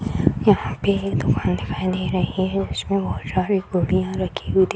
यहाँ पे एक दुकान दिखाई दे रही है उसमें बहुत सारी गुढ़ियाँ रखी हुई --